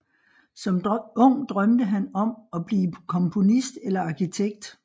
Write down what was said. Som ung drømte han om at blive komponist eller arkitekt